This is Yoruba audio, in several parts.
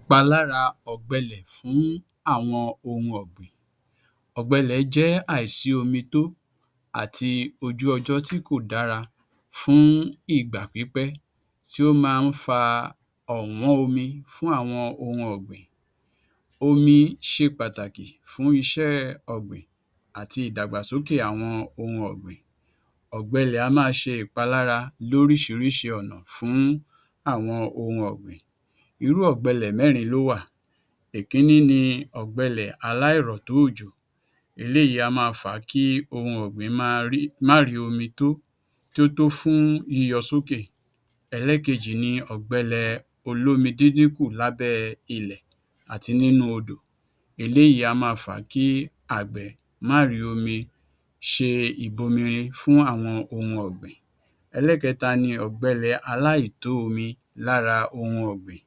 Ìpalára ọ̀gbẹlẹ̀ fún àwọn ohun ọ̀gbìn Ọ̀gbẹ ilẹ̀ jẹ́ àìsí-omi-tó àti ojú ọjọ́ tí kò dára fún ìgbà pípẹ́ tí ó máa ń fa ọ̀wọ́n omi fún àwọn ohun ọ̀gbìn. Omi ṣe pàtàkì fún iṣéẹ ọ̀gbìn àti ìdàgbàsókè àwọn ohun ọ̀gbìn. Ọ̀gbẹlẹ̀ á máa ṣe ìpalára lóríṣiríṣi ọ̀nà fún àwọn ohun ọ̀gbìn. Irú ọ̀gbẹlẹ̀ mẹ́rin ló wà. Ìkíní ni ọ̀gbẹlẹ̀ aláìrọ̀tó-òjò. Eléyìí á máa fa kí ohun ọ̀gbìn máa ri má rìí omi tó, tí ó tó fún yíyọ sókè. Ẹlẹ́ẹ̀kejì ni ọ̀gbẹlẹ̀ olómi-dídínkù-lábẹ́ ilẹ̀ àti nínú odò. Eléyìí á máa fa kí agbẹ̀ má rìí omi ṣe ìbomirin fún àwọn ohun ọ̀gbìn. Ẹlẹ́ẹ̀kẹta ni ọ̀gbẹlẹ̀ aláìtó-omi lára ohun ọ̀gbìn.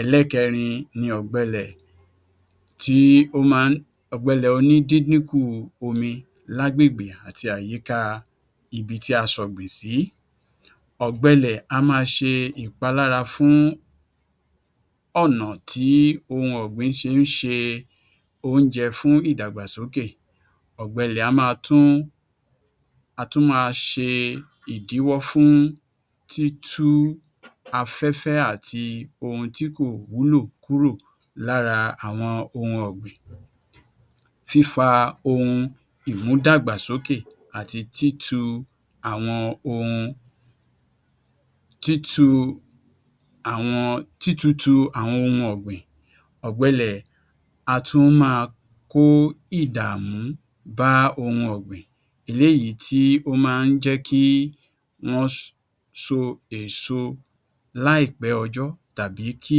Ẹlẹ́ẹ̀kẹrin ni ọ̀gbelẹ̀ tí ó máa ń ọ̀gbẹ ilẹ̀ onídíndínkù omi lágbègbè àti àyíká ibi tí a ṣọ̀gbìn sí. Ọ̀gbẹlẹ̀ á máa ṣe ìpalára fún ọ̀nà tí ohun ọ̀gbìn fi ń ṣe oúnje fún ìdàgbàsókè. Ọ̀gbẹlẹ̀ a máa tún á tún máa ṣe ìdíwọ́ fún títú afẹ́fẹ́ àti ohun tí kò wúlò kúrò lára àwọn ohun ọ̀gbìn. Fífa ohun ìmúdàgbàsókè àti títu àwọn ohun títu àwọn títutù àwọn ohun ọ̀gbìn. Ọ̀gbẹlẹ̀ á tún máa kó ìdàmú bá ohun ọ̀gbìn. Eléyìí tí ó ma ń jẹ́ kí wọ́n so èso láìpẹ́ ọjọ́ tàbí kí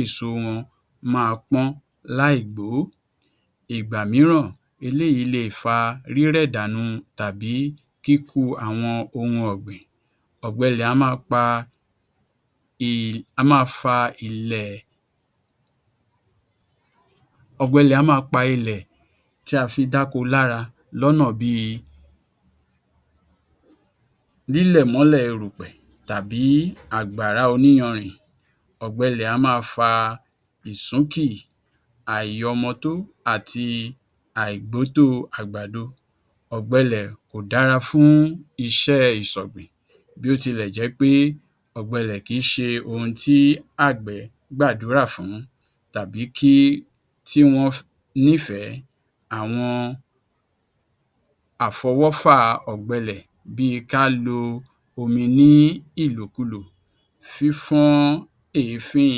èso wọn máa pọ́n láìgbòó. Ìgbà mìíràn eléyìí leè fa rírẹ̀ dànù tàbí ikú àwọn ohun ọ̀gbìn. Ọ̀gbẹlẹ̀ á máa pa ì á máa fa ilẹ̀ ọ̀gbẹ ilẹ̀ á máa pa ilẹ̀ tí a fi dáko lára lọ́nà bíi lílẹ̀ mọ́lẹ̀ erùpẹ̀ tàbí àgbàrá oníyanrìn. Ọ̀gbẹ ilẹ̀ á máa fa ìsúnkì, àìyọmọtó, àti àìgbótóo àgbàdo. Ọ̀gbẹ ilẹ̀ kò dára fún iṣẹ́ ìṣọ̀gbìn bí ó tilẹ̀ jẹ́ pé ọ̀gbẹ kìí ṣe ohun tí àgbẹ̀ gbàdúrà fún tàbí kí tí wọ́n nífẹ̀ẹ́. Àwọn àfọwọ́fà ọ̀gbẹ ilẹ̀ bíi ká lo omi nílòkulò, fífọ́n èéfín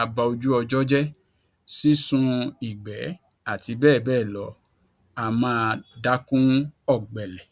abaojúojọ́jẹ́, sísun ìgbẹ́ àti bẹ́ẹ̀bẹ́ẹ̀lọ á máa dákún ọ̀gbẹ ilẹ̀.